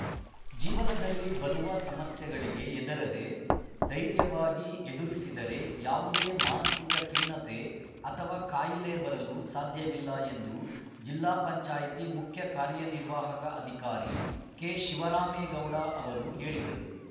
ಜೀವನದಲ್ಲಿ ಬರುವ ಸಮಸ್ಯೆಗಳಿಗೆ ಹೆದರದೇ ದೈರ್ಯವಾಗಿ ಎದುರಿಸಿದರೆ ಯಾವುದೇ ಮಾನಸಿಕ ಖಿನ್ನತೆ ಅಥವಾ ಕಾಯಿಲೆ ಬರಲು ಸಾಧ್ಯವಿಲ್ಲ ಎಂದು ಜಿಲ್ಲಾ ಪಂಚಾಯಿತಿ ಮುಖ್ಯ ಕಾರ್ಯನಿರ್ವಾಹಕ ಅಧಿಕಾರಿ ಕೆಶಿವರಾಮೇಗೌಡ ಅವರು ಹೇಳಿದರು